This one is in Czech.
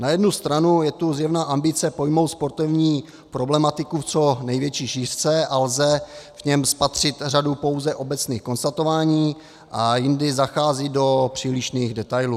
Na jednu stranu je tu zjevná ambice pojmout sportovní problematiku v co největší šířce a lze v něm spatřit řadu pouze obecných konstatování, a jindy zachází do přílišných detailů.